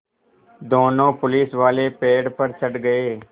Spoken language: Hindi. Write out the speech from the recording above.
दोनों पुलिसवाले पेड़ पर चढ़ गए